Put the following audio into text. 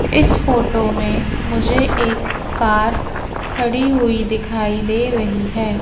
इस फोटो में मुझे एक कार खड़ी हुई दिखाई दे रही है।